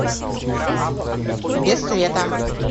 без света